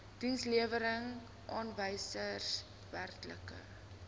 dienslewerings aanwysers werklike